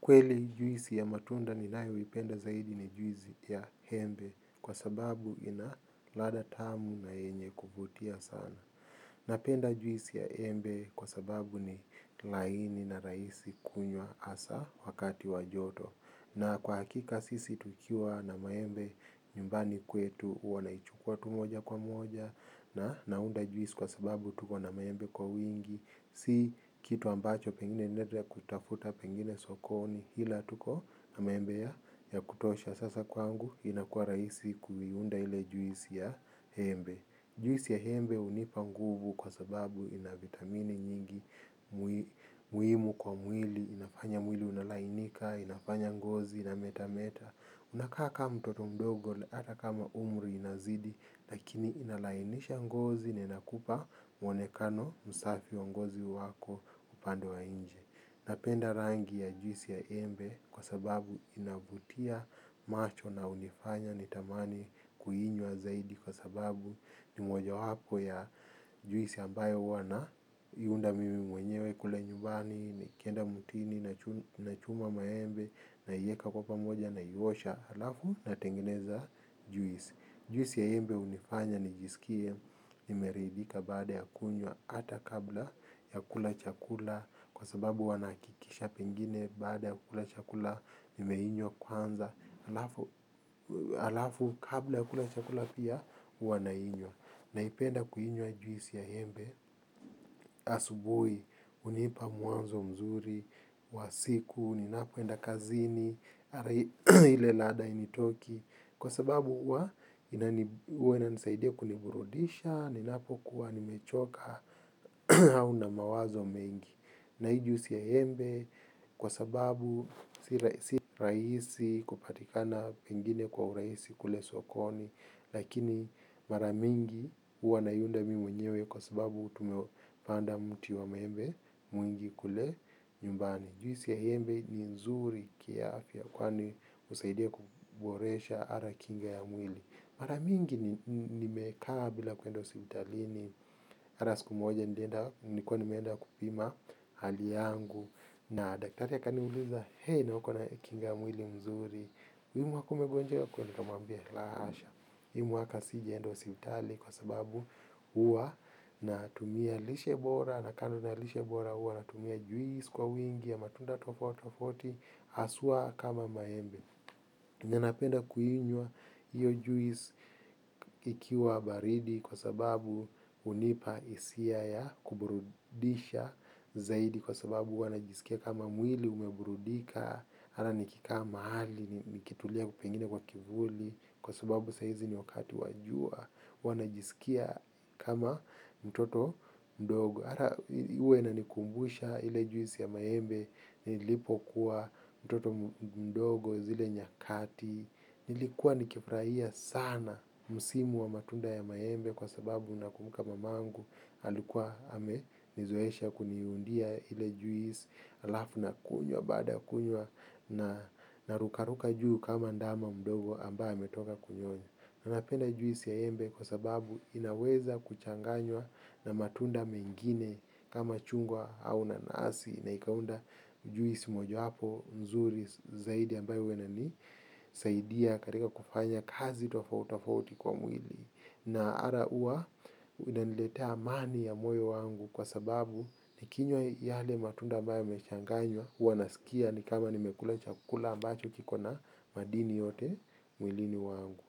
Kweli juisi ya matunda ninayoipenda zaidi ni juisi ya embe kwa sababu ina ladha tamu na yenye kuvutia sana. Napenda juisi ya embe kwa sababu ni laini na rahisi kunywa hasa wakati wa joto. Na kwa hakika sisi tukiwa na maembe nyumbani kwetu huwa naichukua tu moja kwa moja na naunda juisi kwa sababu tuko na maembe kwa wingi. Si kitu ambacho pengine naenda kuitafuta pengine sokoni ila tuko na maembe ya kutosha sasa kwangu inakuwa rahisi kuiunda ile juisi ya embe. Juisi ya embe hunipa nguvu kwa sababu ina vitamini nyingi. Muhimu kwa mwili, inafanya mwili unalainika, inafanya ngozi inametameta, unakaa kama mtoto mdogo hata kama umri inazidi lakini inalainisha ngozi na inakupa mwonekano msafi wa ngozi wako upande wa nje. Napenda rangi ya juisi ya embe kwa sababu inavutia macho na hunifanya nitamani kuinywa zaidi kwa sababu ni mojawapo ya juisi ambayo huwa na iunda mimi mwenyewe kule nyumbani nikienda mutini nachuma maembe naieka kwa pamoja naiosha halafu natengeneza juisi. Juisi ya embe hunifanya nijisikie, nimeridhika baada ya kunywa, hata kabla ya kula chakula, kwa sababu huwa nahakikisha pengine baada ya kula chakula, nimeinywa kwanza, halafu kabla ya kula chakula pia, huwa nainywa. Naipenda kuinywa juisi ya embe asubuhi, hunipa mwanzo mzuri wa siku, ninapoenda kazini ile ladha hainitoki. Kwa sababu huwa, huwa inanisaidia kuniburudisha, ninapokuwa nimechoka, au na mawazo mengi. Na hii juisi ya embe kwa sababu si rahisi kupatikana pengine kwa urahisi kule sokoni. Lakini mara mingi huwa naiunda mi mwenyewe kwa sababu tumepanda mti wa maembe mwingi kule nyumbani. Juisi ya embe ni nzuri kiafya kwani husaidia kuboresha hata kinga ya mwili. Mara mingi nimekaa bila kwenda hospitalini hata siku moja nilikuwa nimeenda kupima hali yangu. Na daktari akaniuliza, he na uko na kinga ya mwili mzuri hii mwaka umegonjeka kweli, nikamwambia la hasha hii mwaka sijaenda hospitali kwa sababu huwa natumia lishe bora. Na kando na lishe bora huwa natumia juisi kwa wingi ya matunda tofautitofauti haswa kama maembe yenye napenda kuinywa hiyo juisi ikiwa baridi kwa sababu hunipa hisia ya kuburudisha zaidi kwa sababu huwa najisikia kama mwili umeburudika hata nikikaa mahali nikitulia pengine kwa kivuli kwa sababu sahizi ni wakati wa jua huwa najisikia kama mtoto mdogo. Huwa inanikumbusha ile juisi ya maembe, nilipokuwa mtoto mdogo zile nyakati, nilikuwa nikifurahia sana msimu wa matunda ya maembe kwa sababu nakumbuka mamangu alikuwa amenizoesha kuniundia ile juisi halafu nakunywa baada ya kunywa narukaruka juu kama ndama mdogo ambaye ametoka kunyonya. Na napenda juisi ya embe kwa sababu inaweza kuchanganywa na matunda mengine kama chungwa au nanasi na ikaunda juisi mojawapo nzuri zaidi ambayo huwa inanisaidia katika kufanya kazi tofautitofauti kwa mwili. Na hata huwa inaniletea amani ya moyo wangu kwa sababu nikinywa yale matunda ambayo yamechanganywa huwa nasikia ni kama nimekula chakula ambacho kiko na madini yote mwilini wangu.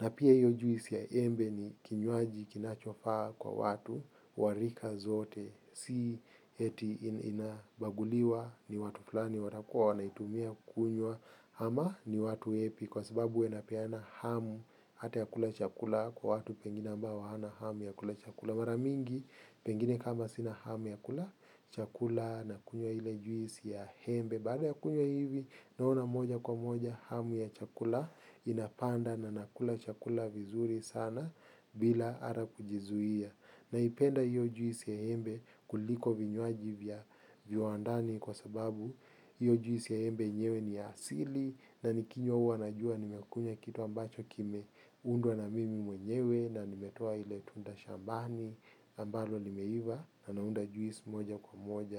Na pia hiyo juisi ya embe ni kinywaji kinachofaa kwa watu wa rika zote si eti inabaguliwa ni watu fulani watakuwa wanaitumia kunywa ama ni watu wepi kwa sababu huwa inapeana hamu hata ya kula chakula kwa watu pengine ambao hawana hamu ya kula chakula. Mara mingi, pengine kama sina hamu ya kula chakula, nakunywa ile juisi ya embe. Baada ya kunywa hivi, naona moja kwa moja, hamu ya chakula inapanda na nakula chakula vizuri sana bila hata kujizuia. Naipenda hiyo juisi ya embe kuliko vinywaji vya viwandani kwa sababu hiyo juisi ya embe yenyewe ni ya asili na nikinywa huwa najua nimekunywa kitu ambacho kimeundwa na mimi mwenyewe na nimetoa ile tunda shambani. Ambalo limeiva, na naunda juisi moja kwa moja.